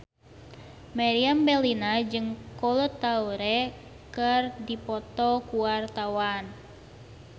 Meriam Bellina jeung Kolo Taure keur dipoto ku wartawan